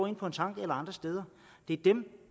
er på tanken eller andre steder det er dem